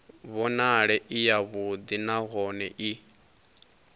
vhonale i yavhuḓi nahone i